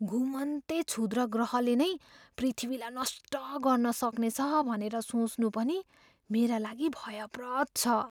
घुमन्ते क्षुद्रग्रहले नै पृथ्वीलाई नष्ट गर्न सक्नेछ भनेर सोच्नु पनि मेरा लागि भयप्रद छ।